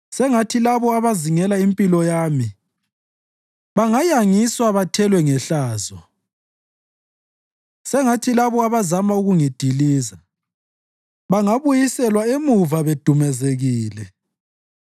Sengathi labo abazingela impilo yami bangayangiswa bathelwe ngehlazo; sengathi labo abazama ukungidiliza bangabuyiselwa emuva bedumazekile.